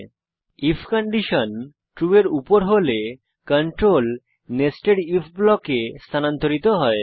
যখন if condition true এর উপর হয় কন্ট্রোল নেস্টেড আইএফ ব্লকে স্থানান্তরিত হয়